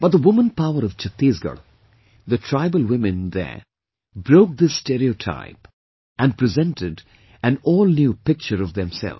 But the woman power of Chattisgarh, the tribal women there broke this stereotype & presented an all new picture of themselves